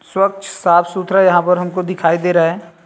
स्वच्छ साफ सुथरा यहाँ पर हमको दिखाई दे रहा है।